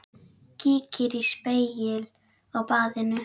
Kíkir í spegil á baðinu.